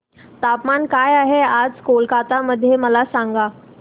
तापमान काय आहे आज कोलकाता मध्ये मला सांगा